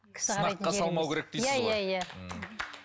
сынаққа салмау керек дейсіз ғой иә иә